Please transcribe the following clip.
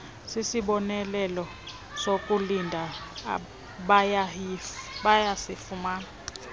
sisibonelelo sokulinda bayasifumana